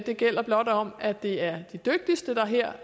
det gælder blot om at det er de dygtigste der her